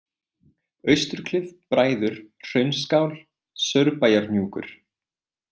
Austurklif, Bræður, Hraunsskál, Saurbæjarhnjúkur